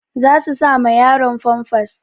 Za su sa ma yaron famfas.